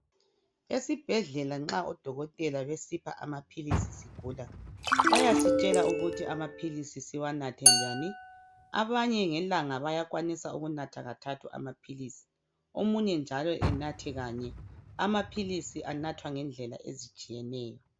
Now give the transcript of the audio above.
Esibhedlela nxa odokokotela besipha amaphilisi sigula bayasitshela ukuthi amaphilisi siwanathe njani. Abanye ngelanga bayakwanisa ukunatha kathathu amaphilisi. Omunye njalo enathe kanye. Amaphilisi anathwa ngendlela ezitshiyeneyo.